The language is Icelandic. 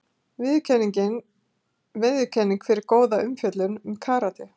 Viðurkenning fyrir góða umfjöllun um karate